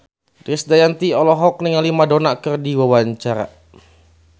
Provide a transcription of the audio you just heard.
Krisdayanti olohok ningali Madonna keur diwawancara